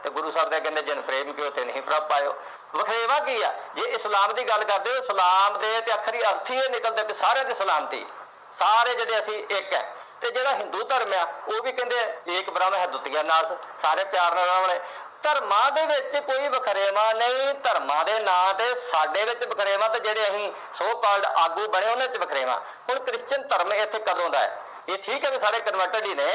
ਸਾਰੇ ਪਿਆਰ ਨਾਲ ਰਹੋ ਧਰਮਾਂ ਦੇ ਵਿਚ ਕੋਈ ਵਖਰੇਵਾਂ ਨਹੀਂ ਧਰਮਾਂ ਦੇ ਨਾਂ ਤੇ ਸਾਡੇ ਵਿਚ ਵਖਰੇਵਾਂ ਤੇ ਜਿਹੜੇ ਅਹੀ so called ਆਗੂ ਬਣੇ ਹੋਏ ਉਨ੍ਹਾਂ ਵਿਚ ਵਖਰੇਵਾਂ ਹੁਣ christian ਧਰਮ ਇਸ ਗੱਲੋ ਦਾ ਇਹ ਠੀਕ ਆ ਕਿ ਸਾਰੇ converted ਨੇ